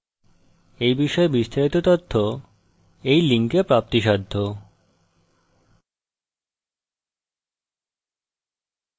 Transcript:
এই বিষয়ে বিস্তারিত তথ্য এই লিঙ্কে প্রাপ্তিসাধ্য